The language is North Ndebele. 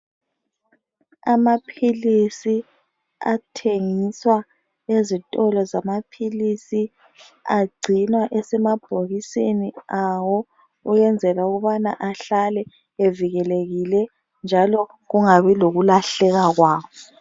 Amaphilisi athengiswa ezitolo zamaphilisi agcinwa esemabhokisini awo ukwenzela ukubana ahlale evikelekile njalo kungabi lokulahleka kwawo